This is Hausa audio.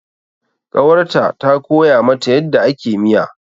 Ƙawarta ta koya mata yadda ake miya.